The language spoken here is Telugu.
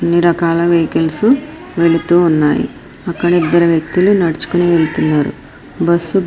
అన్నీ రకాల వెహికల్స్ వెళ్తూ ఉన్నాయి. అక్కడ ఇద్దరు వ్యక్తులు నడుచుకుని వెళ్తున్నారు. బస్ --